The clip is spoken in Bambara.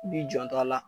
I b'i janto a la